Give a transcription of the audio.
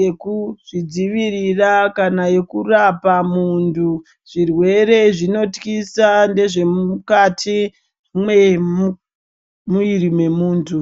yekuzvidzivirira kana yekurapa muntu. zvirwere zvinotyisa ndezvemukati mwemuiri mwemuntu